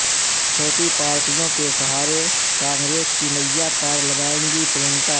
چھوٹی پارٹیوں کے سہارے کانگریس کی نیا پار لگائیں گی پرینکا